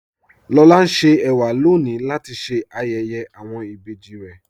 Lọlá ń ṣè èwà lọ́ní latí ṣé ayéyé awọn ìbéjì rè.